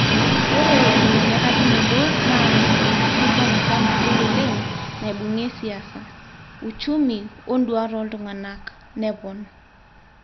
Ore inanyorakinoto naa enkikilikwanata nagol oleng naibungie siasa ,uchumi wonduat oltunganak,''nepon.